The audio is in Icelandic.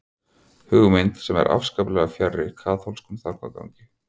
Hugmynd sem er afskaplega fjarri kaþólskum þankagangi.